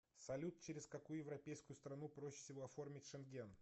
салют через какую европейскую страну проще всего оформить шенген